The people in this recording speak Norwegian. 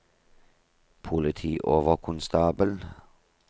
politioverkonstabel